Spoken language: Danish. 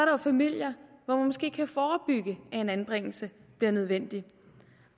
jo familier hvor man måske kan forebygge at en anbringelse bliver nødvendig